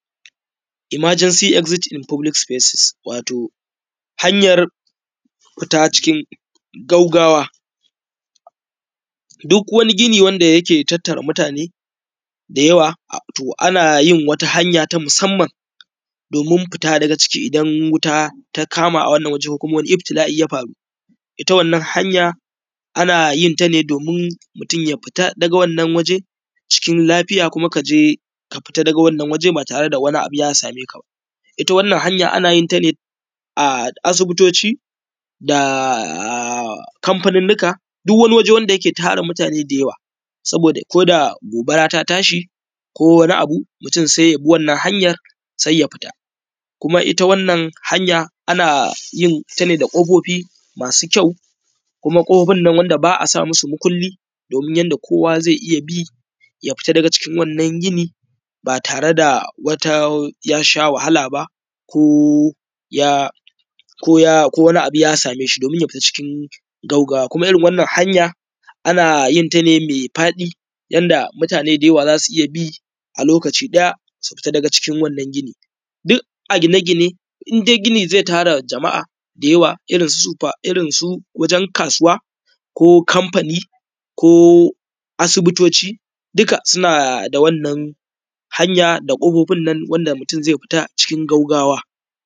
Imajansi izetif in fobilis sifesis wato hanyar fita cikin gaggawa duk wani gini wanda yake tattara mutane da wato ana yin hanya ta musamman domin fita daga ciki idan wuta ta kama a wannan waje ko kuma iftila’i ya faru. Ita wannan hanya ana yin ta ne domin mutum ya fita daga cikin lafiya kuma kaje ka fita daga wannan waje ba tare da wani abu ya sameka ba. Ita wannan hanya ana yinta ne a asibitoci da kamfanin nika duk wani waje dake tara mutane da yawa saboda koda gobara ta tashi mutum sai ya bi wannan hanyan ya fita, kuma ita wannan hanya ana yinta ne da ƙofofi masu kyau kuma ƙofofin ba a sa musu mukuli domin yanda kowa zai iya bi ya fita daga cikin wannan gini ba tare da yasha wahala ba ko ko wani ya same shi domin ya fita cikin gaggawa kuma irin wannan hanya ana yinta ne mai faɗi yanda mutane da yawa za su iya bi a lokaci ɗaya su fita daga cikin wannan gini duk a gine gine in dai gini zai tara jama’a da yawa irin su wajen kasuwa ko kamfani ko asibitoci duka suna da wannan hanya da kofofin wanda mutum zai fita cikin gaggawa.